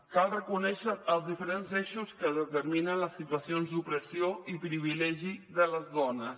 cal reconèixer els diferents eixos que determinen les situacions d’opressió i privilegi de les dones